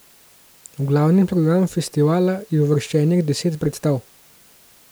V glavni program festivala je uvrščenih deset predstav.